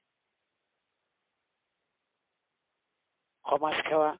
সমাজ সেৱা।